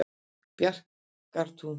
Bjarkartúni